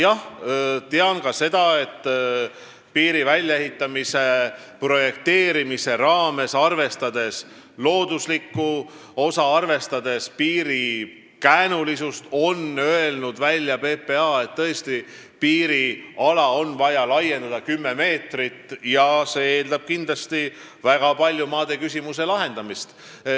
Jah, tean ka seda, et piiri väljaehitamise projekteerimise raames – arvestades looduslikku osa ja ka piiri käänulisust – on PPA öelnud välja, et piiriala on vaja laiendada 10 meetrit ja see eeldab kindlasti väga paljude maaküsimuste lahendamist.